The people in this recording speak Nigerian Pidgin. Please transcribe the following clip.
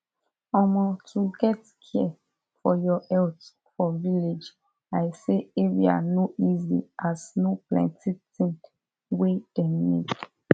omo to get care for your health for village i say area no easy as no plenti thing wey dem need